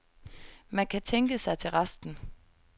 Man kan tænke sig til resten.